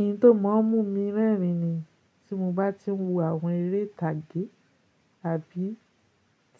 Ohun tó máa ń mú mi rẹ́rìn ni tí mo bá ti ń wo àwọn eré ìtàgé àbí